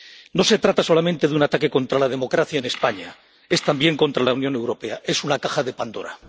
No se trata solamente de un ataque contra la democracia en España, es también contra la Unión Europea es una caja de Pandora.